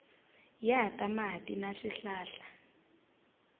ya ta mati na swihlahla